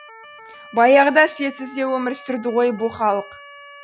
баяғыда светсіз де өмір сүрді ғой бұ халық